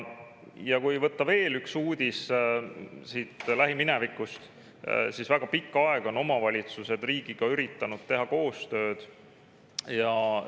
Ja kui võtta veel üks uudis lähiminevikust, siis väga pikka aega on omavalitsused üritanud riigiga koostööd teha.